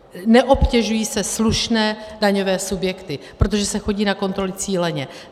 Neobtěžují se slušné daňové subjekty, protože se chodí na kontroly cíleně.